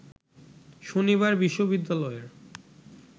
শনিবার বিশ্ববিদ্যালয়ের